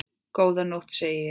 Góða nótt, segi ég.